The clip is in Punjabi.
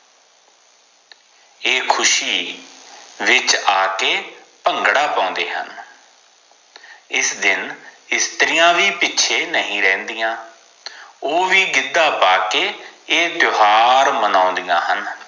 ਏ ਖੁਸ਼ੀ ਵਿਚ ਆਕੇ ਭੰਗੜਾ ਪੌਂਦੇ ਹਨ ਇਸ ਦਿਨ ਇਸਤਰੀਆਂ ਵੀ ਪਿੱਛੇ ਨਹੀਂ ਰਹਿੰਦੀਆਂ ਓ ਵੀ ਗਿੱਦਾ ਪਾਕੇ ਏ ਤਿਓਹਾਰ ਮਨੌਂਦੀਆਂ ਹਨ